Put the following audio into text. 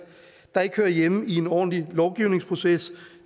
der ikke hører hjemme i en ordentlig lovgivningsproces